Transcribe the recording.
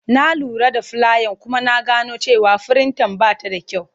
Na lura da fulayan kuma na gano cewa firinta ba ta da kyau.